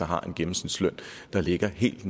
har en gennemsnitsløn der ligger helt